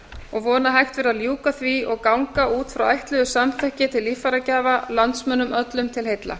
og beina að hægt verði að ljúka því og ganga út frá ætluðu samþykki til líffæragjafa landsmönnum öllum til heilla